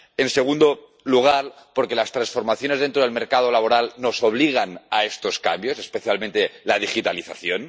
en segundo lugar, porque las transformaciones dentro del mercado laboral nos obligan a estos cambios, especialmente la digitalización